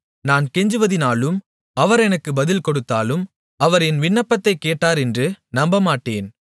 நான் கெஞ்சுவதினாலும் அவர் எனக்கு பதில் கொடுத்தாலும் அவர் என் விண்ணப்பத்தைக் கேட்டார் என்று நம்பமாட்டேன்